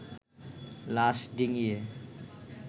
লাশ ডিঙিয়ে